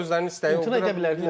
Klubların özlərinin istəyi var idi.